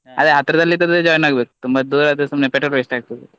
ಅದೇ ಹತ್ರದಲ್ಲಿ ಇದ್ದದ್ದೇ join ಆಗ್ಬೇಕು ತುಂಬ ದೂರ ಆದ್ರೆ ಸುಮ್ನೆ petrol waste ಆಗ್ತದೆ.